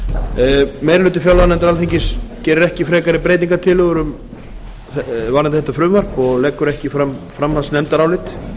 sex meiri hluti fjárlaganefndar alþingis gerir ekki frekari breytingartillögur varðandi þetta frumvarp og leggur ekki fram framhaldsnefndarálit